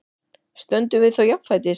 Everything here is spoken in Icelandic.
Stöndum við þá jafnfætis?